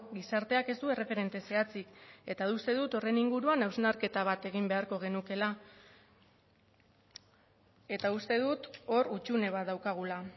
gizarteak ez du erreferente zehatzik eta uste dut horren inguruan hausnarketa bat egin beharko genukeela eta uste dut hor hutsune bat daukagula